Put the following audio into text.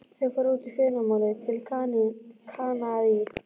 Þau fara út í fyrramálið, til Kanarí.